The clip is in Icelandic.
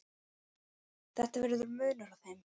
Það verður munur á þeim.